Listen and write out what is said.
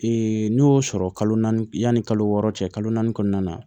n'o y'o sɔrɔ kalo naani yanni kalo wɔɔrɔ cɛ kalo naani kɔnɔna na